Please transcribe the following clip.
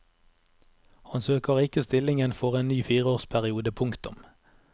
Han søker ikke stillingen for en ny fireårsperiode. punktum